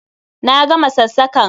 Na gama sassakan!